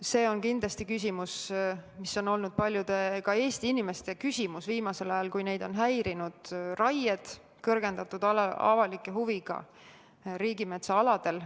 See on kindlasti küsimus, mis on olnud paljude Eesti inimeste küsimus viimasel ajal, kui neid on häirinud raied kõrgendatud avaliku huviga riigimetsa aladel.